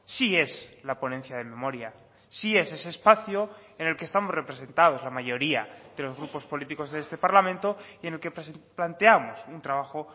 sí es la ponencia de memoria sí es ese espacio en el que estamos representados la mayoría de los grupos políticos de este parlamento y en el que planteamos un trabajo